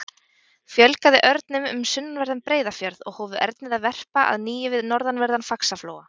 Fjölgaði örnum um sunnanverðan Breiðafjörð og hófu ernir að verpa að nýju við norðanverðan Faxaflóa.